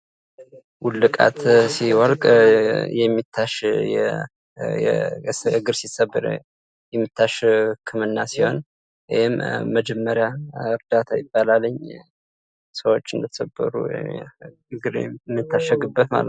ውልቃት ሲወልቅ የሚታሽ እግር ሲሰበር የሚታሽ ህክምና ሲሆን ይህም መጀመሪ እርዳታ ይባላል። ሰዎች እንደተሰበሩ እግር የሚታሸግበት ማለት ነው።